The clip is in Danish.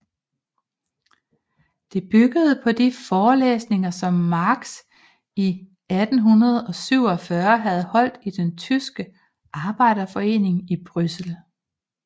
Det byggede på de forelæsninger som Marx i 1847 havde holdt i den tyske arbejderforeningen i Bryssel